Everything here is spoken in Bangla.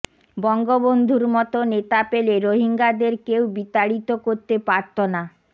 বঙ্গবন্ধুর মতো নেতা পেলে রোহিঙ্গাদের কেউ বিতাড়িত করতে পারত না